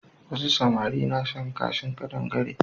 Wasu samari na shan kashin ƙadangare.